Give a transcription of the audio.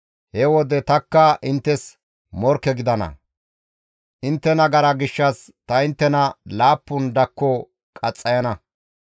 he wode tanikka inttes morkke gidana; intte nagara gishshas ta inttena laappun dakko qaxxayana.